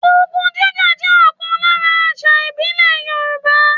Ogun jíjà jẹ́ ọ̀kan lára àṣà ìbílẹ̀ Yòrùbá